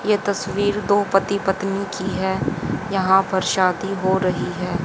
ये तस्वीर दो पति पत्नी की है यहां पर शादी हो रही है।